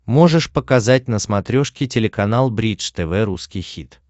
можешь показать на смотрешке телеканал бридж тв русский хит